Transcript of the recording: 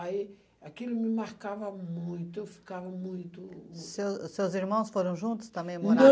Aí, aquilo me marcava muito, eu ficava muito mu... Seu seus irmãos foram juntos também morar...